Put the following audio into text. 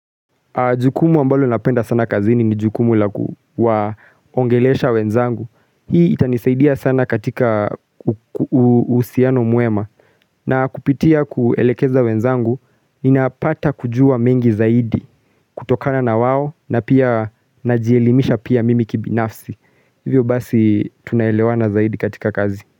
Jukumu ambalo napenda sana kazini ni jukumu la kuwa ongelesha wenzangu. Hii itanisaidia sana katika uhusiano mwema. Na kupitia kuelekeza wenzangu, ninapata kujua mengi zaidi kutokana na wawo na pia najielimisha pia mimi kibinafsi. Hivyo basi tunaelewa zaidi katika kazi.